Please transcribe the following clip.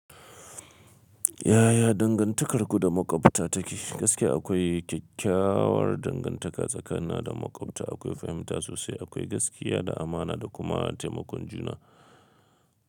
Yaya dangantakar ku da maƙwabta take? Gaskiya akwai kyakkyawar dangantaka tsakanina da maƙwabta. Akwai fahimta sosai, akwai gaskiya da amana da kuma taimakon juna.